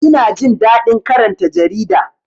Ina jin daɗin karanta jarida